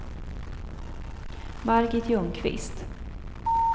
Margit Ljungqvist